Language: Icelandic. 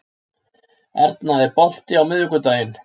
Arna, er bolti á miðvikudaginn?